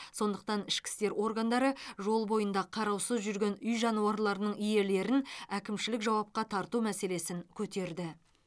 сондықтан ішкі істер органдары жол бойында қараусыз жүрген үй жануарларының иелерін әкімшілік жауапқа тарту мәселесін көтерді